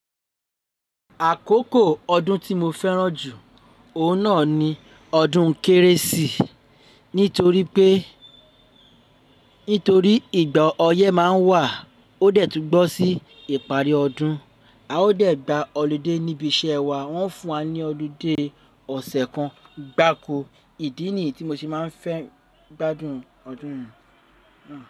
Àkókò ọdún tí mo fẹ́ràn jù, òun náà ni ọdún Kérésì. Nítorí pé, nítorí ìgbà ọyẹ́ máa ń wà ó dẹ̀ tún bọ́ sí ìparí ọdún. A ó dẹ̀ gba ọlude níbi iṣẹ́ wa, wọ́n fún wa ní ọlidé ọ̀sẹ̀ kan gbaako. Ìdí nì yii tí mo ṣe máa ń fẹ́ gbádùn ọdún yẹn.